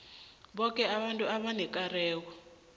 boke abantu abanekareko